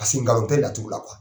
nkalon tɛ laturu la